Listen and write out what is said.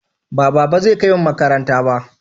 Ba baba zai kaimu makaranta ba?